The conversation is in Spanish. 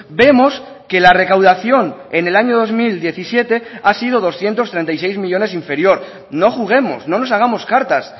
vemos que la recaudación en el año dos mil diecisiete ha sido doscientos treinta y seis millónes inferior no juguemos no nos hagamos cartas